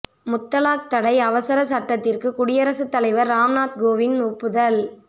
முத்தலாக் தடை அவசரச் சட்டத்திற்கு குடியரசுத் தலைவர் ராம்நாத் கோவிந்த் ஒப்புதல்